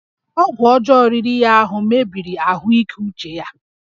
Ọgwụ ọjọọ riri ya ahụ mebiri ahụike uche ya